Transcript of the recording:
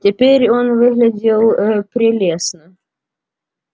теперь он выглядел ээ прелестно